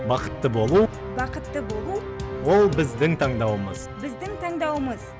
бақытты болу бақытты болу ол біздің таңдауымыз біздің таңдауымыз